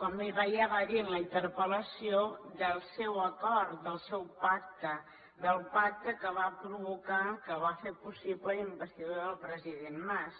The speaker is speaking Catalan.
com ell ja va dir en la interpel·lació del seu acord del seu pacte del pacte que va provocar que va fer possible la investidura del president mas